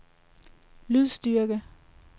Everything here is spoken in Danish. lydstyrke